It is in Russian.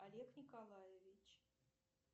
олег николаевич